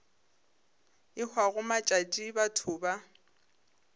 e hwago matšatši batho ba